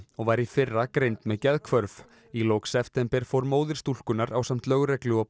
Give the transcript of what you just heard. og var í fyrra greind með geðhvörf í lok september fór móðir stúlkunnar ásamt lögreglu og